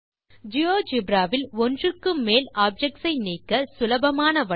GeoGebra வில் ஒன்றுக்கு மேல் ஆப்ஜெக்ட்ஸ் ஐ நீக்க சுலபமான வழி